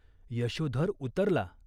यशोधर उतरला.